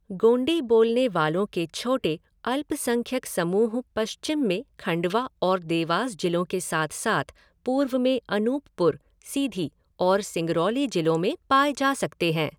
गोंडी बोलने वालों के छोटे अल्पसंख्यक समूह पश्चिम में खंडवा और देवास जिलों के साथ साथ पूर्व में अनूपपुर, सीधी और सिंगरौली जिलों में पाए जा सकते हैं।